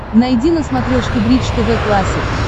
найди на смотрешке бридж тв классик